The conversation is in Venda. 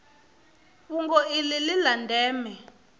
fhungo iḽi ḽi ḽa ndeme